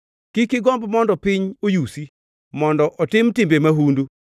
Kik igomb mondo piny oyusi, mondo otim timbe mahundu.